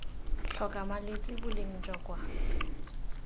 tlhoka malwetse boleng jwa kwa